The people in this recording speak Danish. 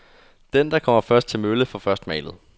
Den, der kommer først til mølle, får først malet.